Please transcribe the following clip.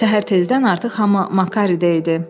Səhər tezdən artıq hamı Makaridə idi.